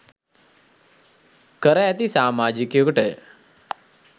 කර ඇති සාමාජිකයකුටය.